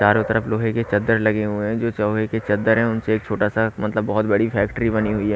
चारों तरफ लोहे के चद्दर लगे हुए हैं जो चौहे के चद्दर हैं उनसे एक छोटा सा मतलब बहुत बड़ी फैक्ट्री बनी हुई है।